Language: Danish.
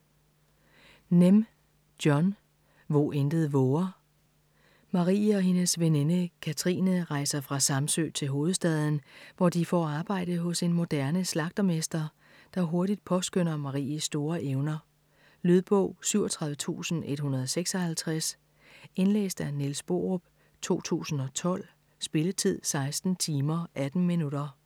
Nehm, John: Hvo intet vover Marie og hendes veninde Kathrine rejser fra Samsø til hovedstaden, hvor de får arbejde hos en moderne slagtermester, der hurtigt påskønner Maries store evner. Lydbog 37156 Indlæst af Niels Borup, 2012. Spilletid: 16 timer, 18 minutter.